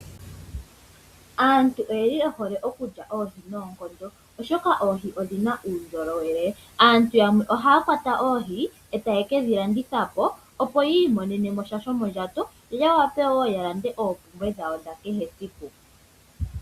Aantu oyeli ye hole okulya oohi noonkondo oshoka oohi odhina uundjolowele. Aantu yamwe ohaya kwata oohi etayedhi landithapo opo yi imonene mo sha shomondjato yo ya wape woo ya lande oompumbwe dhawo dha kehe esiku.